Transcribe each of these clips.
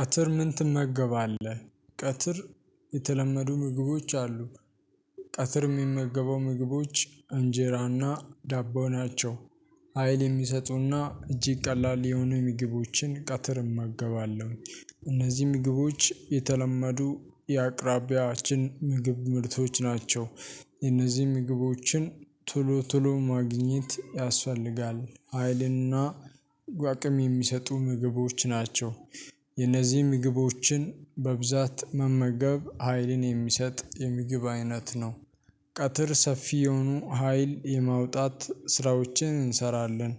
ቀትር ምን ትመገባለህ? ቀትር የተለመዱ ምግቦች አሉ። ቀትር የሚመገበው ምግቦች እንጀራና ዳቦ ናቸው። ሀይል የሚሰጡና እጅግ ቀላል የሆኑ ምግቦችን ቀትር እመገባለሁ። እነዚህ ምግቦች የተለመዱ የአቅራቢያችን ምግብ ምርቶች ናቸው። የነዚህ ምግቦችን ቶሎ ቶሎ ማግኘት ያስፈልጋል ሀይልና አቅም የሚሰጡ ምግቦች ናቸው። የነዚህ ምግቦችን በብዛት መመገብ ሀይልን የሚሰጥ የምግብ አይነት ነው። ቀትር ሰፊ የሆኑ ሀይል የማውጣት ስራዎችን እንሰራለን።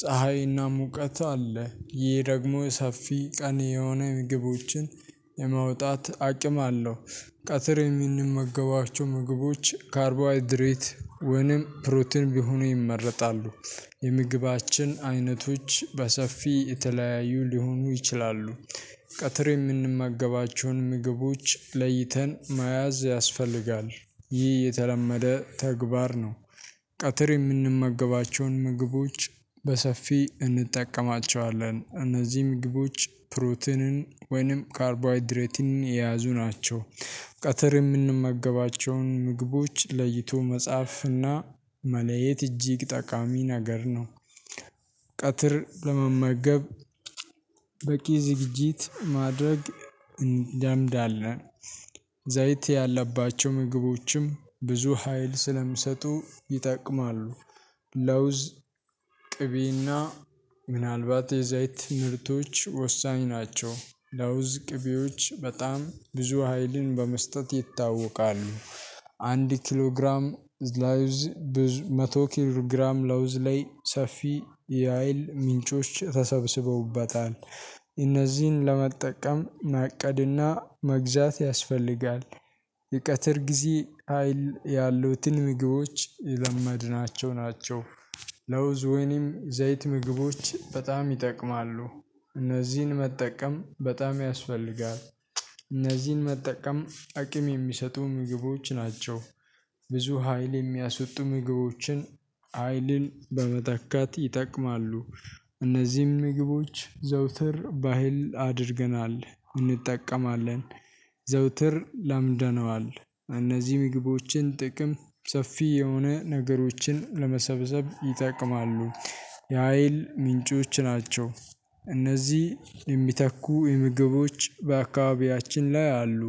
ፀሀይና ሙቀት አለ ይህ ደግሞ ሰፊ ቀን የሆነ ምግቦችን የመውጣት አቅም አለው። ቀትር የምንመገባቸው ምግቦች ካርቦሃይድሬት ወይንም ፕሮቲን ቢሆኑ ይመረጣሉ። የምግባችን አይነቶች በሰፊ የተለያዩ ሊሆኑ ይችላሉ። ቀትር የምንመገባቸውን ምግቦች ለይተን መያዝ ያስፈልጋል ይህ የተለመደ ተግባር ነው። ቀትር የምንመግባቸውን ምግቦች በሰፊ እንጠቀማቸዋለን እነዚህም ግቦች ፕሮቲንን ወይንም ካርቦይድሬትን የያዙ ናቸው። ቀትር የምንመገባቸውን ምግቦች ለይቶ መጻፍና መለየት እጅግ ጠቃሚ ነገር ነው። ቀትር ለመመገብ በቂ ዝግጅት ማድረግ እንለምዳለን። ዘይት ያለባቸው ምግቦችም ብዙ ሀይል ስለሚሰጡ ይጠቅማሉ። ለውዝ ቅቤና ምናልባት የዛይት ምርቶች ወሳኝ ናቸው ለውዝ ቅቤዎች በጣም ብዙ ሀይልን በመስጠት ይታወቃሉ። አንድ ኪሎ ግራም ለውዝ መቶ ኪሎ ግራም ለውዝ ላይ ሰፊ የሀይል ምንጮች ተሰብስበውበታል። እነዚህን ለመጠቀም ማቀድና መግዛት ያስፈልጋል። የቀትር ጊዜ ሀይል ያሉትን ምግቦች የለመድናቸው ናቸው። ለውዝ ወይንም ዘይት ምግቦች በጣም ይጠቅማሉ። እነዚህን መጠቀም በጣም ያስፈልጋል። እነዚህን መጠቀም አቅም የሚሰጡ ምግቦች ናቸው። ብዙ ሀይል የሚያስወጡ ምግቦችን ሀይልን በመተካት ይጠቅማሉ። እነዚህም ምግቦች ዘውትር ባህል አድርገናል እንጠቀማለን። ዘውትር ለምደነዋል እነዚህ ምግቦችን ጥቅም ሰፊ የሆነ ነገሮችን ለመሰብሰብ ይጠቅማሉ። የሀይል ምንጮች ናቸው። እነዚህ የሚተኩ የምግቦች በአካባቢያችን ላይ አሉ።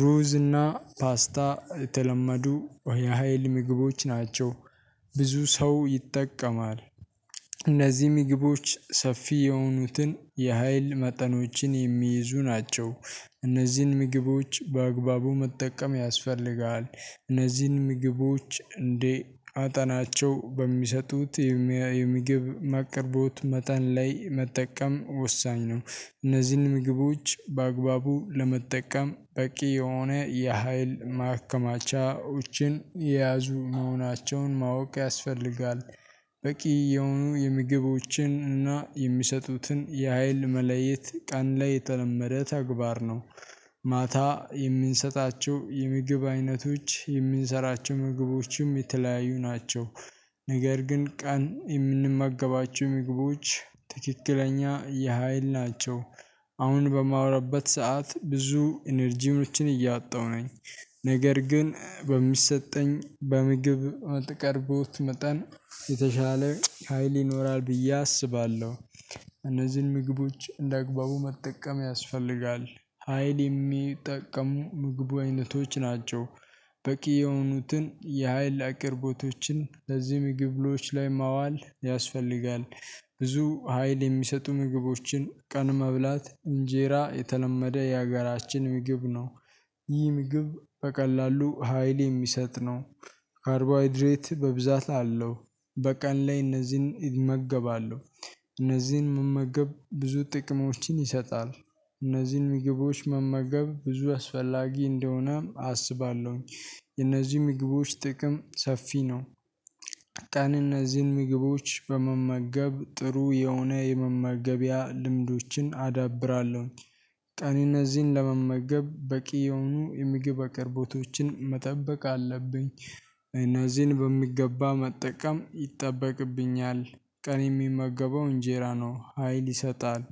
ሩዝ እና ፓስታ የተለመዱ የሀይል ምግቦች ናቸው። ብዙ ሰው ይጠቀማል። እነዚህ ምግቦች ሰፊ የሆኑትን የሀይል መጠኖችን የሚይዙ ናቸው። እነዚህን ምግቦች በአግባቡ መጠቀም ያስፈልጋል። እነዚህን ምግቦች እንደ መጠናቸው በሚሰጡት የምግብ መቅረቦት መጠን ላይ መጠቀም ወሳኝ ነው። እነዚህን ምግቦች በአግባቡ ለመጠቀም በቂ የሆነ የሀይል ማከማቻዎችን የያዙ መሆናቸውን ማወቅ ያስፈልጋል። በቂ የሆኑ የምግቦችን እና የሚሰጡትን የሀይል መለየት ቀን ላይ የተለመደ ተግባር ነው። ማታ የምንሰጣቸው የምግብ አይነቶች የምንሰራቸው ምግቦችም የተለያዩ ናቸው። ነገር ግን ቀን የምንመገባቸው ምግቦች ትክክለኛ የሀይል ናቸው። አሁን በማውራበት ሰዓት ብዙ ኢነርጂኖችን እያጣሁ ነኝ። ነገር ግን በሚሰጠኝ በምግብ አትቀርቦት መጠን የተሻለ ሀይል ይኖራል ብዬ አስባለሁ። እነዚህን ምግቦች እንደ አግባቡ መጠቀም ያስፈልጋል። ሀይል የሚጠቀሙ ምግብ አይነቶች ናቸው። በቂ የሆኑትን የሀይል አቅርቦቶችን ለዚህ ምግቦች ላይ ማዋል ያስፈልጋል። ብዙ ሀይል የሚሰጡ ምግቦችን ቀን መብላት እንጀራ የተለመደ የሀገራችን ምግብ ነው። ይህ ምግብ በቀላሉ ሀይል የሚሰጥ ነው። ካርቦሃይድሬት በብዛት አለው። በቀን ላይ እነዚህን እመገባለሁ። እነዚህን መመገብ ብዙ ጥቅሞችን ይሰጣል። እነዚህን ምግቦች መመገብ ብዙ አስፈላጊ እንደሆነ አስባለሁኝ። የእነዚህ ምግቦች ጥቅም ሰፊ ነው። ቀን እነዚህን ምግቦች በመመገብ ጥሩ የሆነ የመመገቢያ ልምዶችን አዳብራለሁ። ቀን እነዚህን ለመመገብ በቂ የሆኑ የምግብ አቅርቦቶችን መጠበቅ አለብኝ እነዚህን በሚገባ መጠቀም ይጠበቅብኛል። ቀን የሚመገበው እንጄራ ነው ሀይል ይሰጣል።